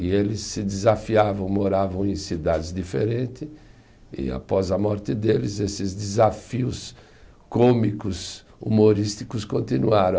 E eles se desafiavam, moravam em cidades diferentes, e após a morte deles, esses desafios cômicos, humorísticos, continuaram.